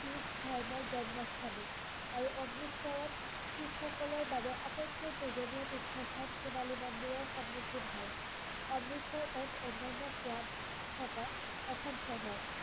শিখ ধৰ্মৰ জন্মস্থান ও আৰু অমৃতসৰত শিখ সকলৰ বাবে আটাইতকৈ পূজনীয় তীৰ্থস্থান সোনালী মন্দিৰৰ সন্মুখীন হে অমৃতসৰ এক অন্যান্য সোৱাদ থকা এখন চহৰ